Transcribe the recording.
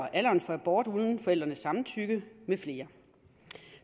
alderen for abort uden forældrenes samtykke med flere